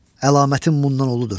Əlamətim bundan uludur.